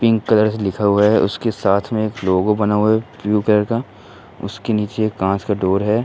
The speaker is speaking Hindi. पिंक कलर से लिखा हुआ है उसके साथ में एक लोगो बना हुआ है ब्लू कलर का। उसके नीचे एक कांच का डोर है।